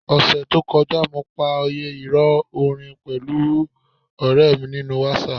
Ọ̀sẹẹ̀ẹ́ to kọjá, mo pa òyẹ́ ìrọ̀ orin pẹ̀lú ọ̀rẹ̀ mi nínú WhatsApp.